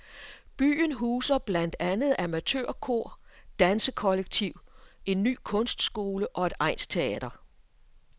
Byen huser blandt andet amatørkor, dansekollektiv, en ny kunstskole og et egnsteater.